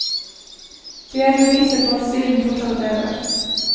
De er beviset på at stilen fortsatt lever.